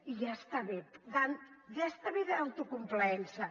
i ja està bé ja està bé d’autocomplaença